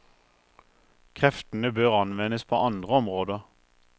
Kreftene bør anvendes på andre områder.